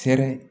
Fɛrɛ